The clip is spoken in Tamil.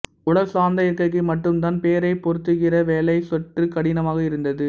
உடல் சார்ந்த இருக்கைக்கு மட்டும் தான் பெயரைப் பொருத்துகிற வேலை சற்று கடினமாக இருந்தது